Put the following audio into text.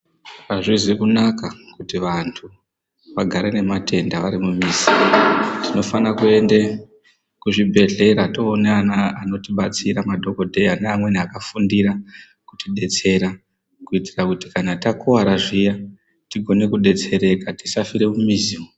Azvizi kunaka kuti vantu vagare nematenda vari mumizi, tinofane kuyende kuzvibhedhlera toona anotibetsera madhokodheya neamweni akafundira kuti detsera kuyitira kuti kana takuwara zviya tigone kudetsereka tisafira mumizi.